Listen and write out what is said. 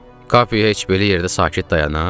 Kape heç belə yerdə sakit dayanar?